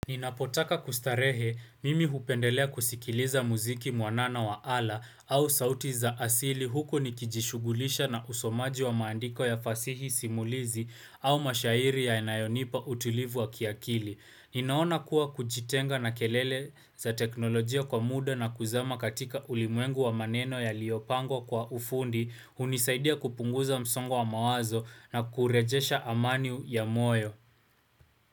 Ninapotaka kustarehe mimi hupendelea kusikiliza muziki mwanana wa ala au sauti za asili huko nikijishugulisha na usomaji wa maandiko ya fasihi simulizi au mashairi ya nayonipa utulivu wa kiakili. Ninaona kuwa kujitenga na kelele za teknolojia kwa muda na kuzama katika ulimwengu wa maneno yaliopango kwa ufundi unisaidia kupunguza msongo wa mawazo na kurejesha amani ya moyo.